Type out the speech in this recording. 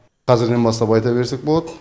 қазірден бастап айта берсек болады